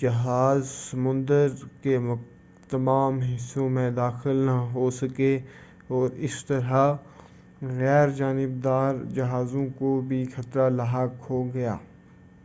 جہاز سمندر کے تمام حصوں میں داخل نہ ہو سکے اور اس طرح غیر جانب دار جہازوں کو بھی خطرہ لاحق ہوگیا